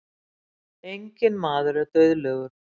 enginn maður er dauðlegur